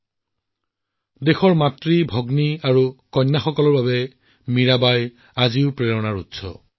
মীৰাবাই আজিও দেশৰ মাতৃ ভগ্নী কন্যা সন্তানৰ বাবে প্ৰেৰণাৰ উৎস